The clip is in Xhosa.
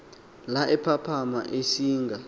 la ephaphama ecinga